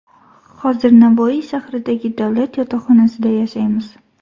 Hozir Navoiy shahridagi davlat yotoqxonasida yashaymiz.